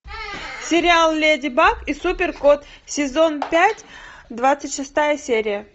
сериал леди баг и супер кот сезон пять двадцать шестая серия